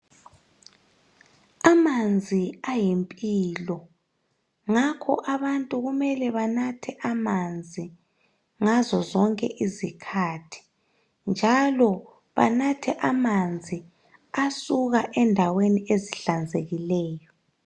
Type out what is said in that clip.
amanzi ayimpilo ngakho abantu kumele banathe amanzi ngazo zonke izikhathi njalo banathe amanzi asuka endaweni ezihlanzekileyo